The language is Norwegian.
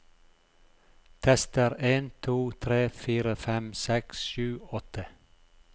Tester en to tre fire fem seks sju åtte